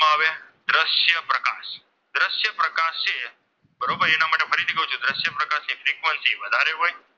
Frequency વધારે હોય.